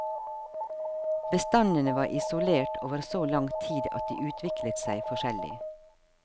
Bestandene var isolert over så lang tid at de utviklet seg forskjellig.